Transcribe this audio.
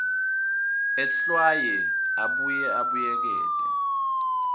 ehlwaye abuye abuyekete